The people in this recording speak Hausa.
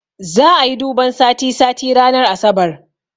Za'a yi duban sati sati ranar asabar